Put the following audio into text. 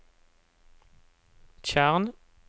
tjern